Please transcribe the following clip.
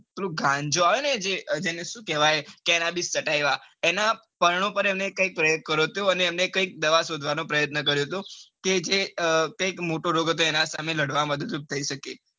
પેલું ગાંજૉ આવે ને જે જેણે સુ કેવાય cenabis kataiva એના પરણોપર એમને કૈક પ્રયોગ કર્યો અને એમને કૈક દવા શોધવાનો પ્રયાતન કર્યો હતો કે જે કૈક મોટો રોગ હતું જેની સામે લાડવા માં મદદ રૂપ થઇ શકે.